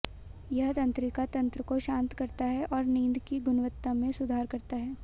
यह तंत्रिका तंत्र को शांत करता है और नींद की गुणवत्ता में सुधार करता है